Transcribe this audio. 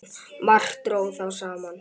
Margt dró þá saman.